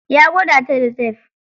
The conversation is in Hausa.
Ya gwada ta da tef.